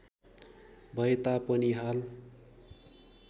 भए तापनि हाल